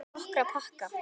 Nokkra pakka.